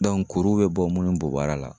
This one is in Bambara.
Dɔnku kuru be bɔ munnu bɔ baara la